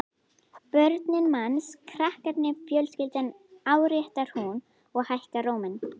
Börnin manns, krakkarnir, fjölskyldan, áréttar hún og hækkar róminn.